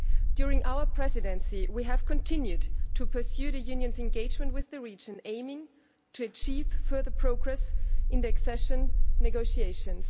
During our Presidency, we have continued to pursue the Union's engagement with the region, aiming to achieve further progress in the accession negotiations.